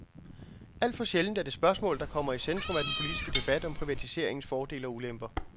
Alt for sjældent er det spørgsmål, der kommer i centrum af den politiske debat om privatiseringens fordele og ulemper.